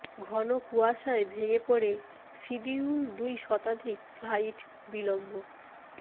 ঘন কুয়াশায় ভেঙে পড়ে সিডিউল দুই শতাধিক ফ্লাইট বিলম্ব